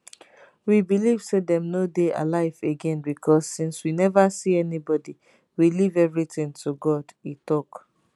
we believe say dem no dey alive again becos since we neva see anybody we leave everything to god e tok